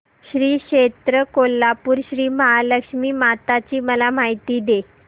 श्री क्षेत्र कोल्हापूर श्रीमहालक्ष्मी माता ची मला माहिती दे